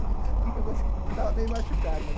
A única coisa que estava meio machucado, né?